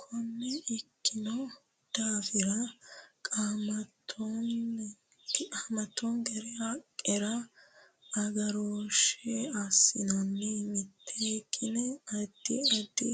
Konne ikkino daafira qamattenkera haqqera agarooshshe assanna miteekkine addi addi